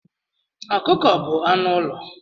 Ọkụkọ bu anụ ụlọ.